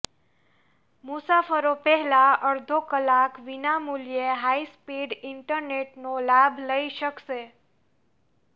મુસાફરો પહેલો અડધો કલાક વિનામૂલ્યે હાઇસ્પીડ ઇન્ટરનેટનો લાભ લઇ શકશે